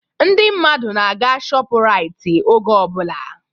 Ndị mmadụ na-aga shọpu Rait oge ọbụla